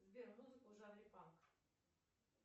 сбер музыку в жанре панк